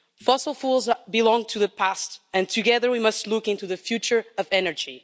Fossil fuels belong to the past and together we must look into the future of energy.